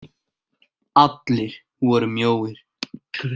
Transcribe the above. Allir voru mjóir.